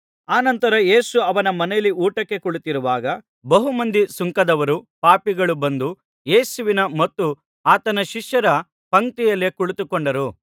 ಅನಂತರ ಯೇಸು ಅವನ ಮನೆಯಲ್ಲಿ ಊಟಕ್ಕೆ ಕುಳಿತಿರುವಾಗ ಬಹು ಮಂದಿ ಸುಂಕದವರೂ ಪಾಪಿಗಳೂ ಬಂದು ಯೇಸುವಿನ ಮತ್ತು ಆತನ ಶಿಷ್ಯರ ಪಂಕ್ತಿಯಲ್ಲೇ ಕುಳಿತುಕೊಂಡರು